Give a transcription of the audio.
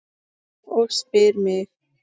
Og spyr mig